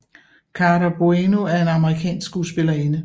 Cara Buono er en amerikansk skuespillerinde